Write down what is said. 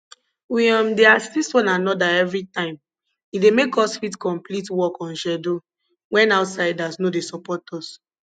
we um dey assist one another every time e dey make us fit complete work on schedule wen outsiders no dey support us